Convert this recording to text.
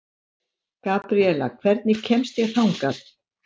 Gabriela, hvernig kemst ég þangað?